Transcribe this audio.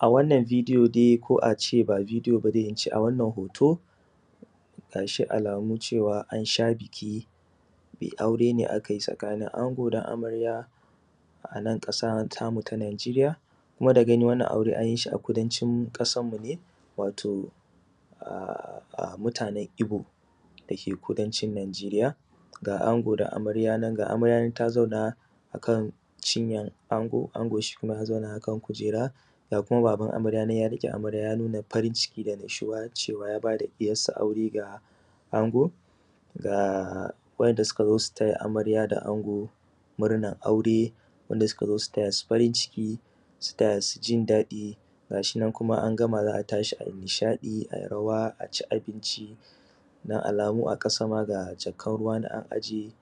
a wannan video dai ko a ce ba video ba dai in ce a wannan hoto ga shi alamu cewa an sha biki bi aure ne a kai tsakanin ango da amarya anan ƙasa ta mu ta najeriya kuma da gani wannan aure anyi shi a kudancin ƙasarmu ne wato a mutanan ibo da ke kudancin najeriya ga ango da amarya nan ga amarya nan ta zauna a kan cinyar ango ango shi kuma ya zauna a kan kujera ga kuma baban amarya nan ya riƙe amarya ya nuna farin ciki da annashuwa cewa ya ba da ɗiyarsa aure ga ango ga wa'inda suka zo su taya amarya da ango murnan aure wa'inda suka zo su taya su farin ciki su taya su jin daɗi gashi nan kuma an gama za a tashi ai nishaɗi ai rawa a ci abinci don alamu a ƙasa ma ga jakan ruwa an aje